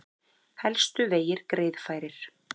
Helstu vegir greiðfærir